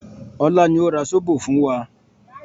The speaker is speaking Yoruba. Ọlá ni ó ra zobo fún wa